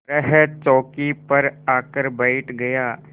तरह चौकी पर आकर बैठ गया